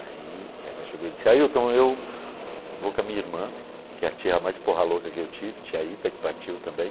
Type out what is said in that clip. Aí ela chegou e disse, Ailton, eu vou com a minha irmã, que é a tia mais porra louca que eu tive, tia Ita, que partiu também.